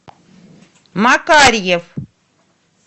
макарьев